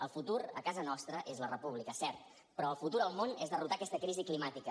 el futur a casa nostra és la república cert però el futur al món és derrotar aquesta crisi climàtica